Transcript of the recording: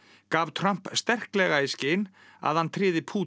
gaf Trump sterkleg í skyn að hann tryði Pútín